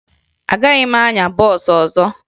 Agaghị m anya bọọsụ ọzọ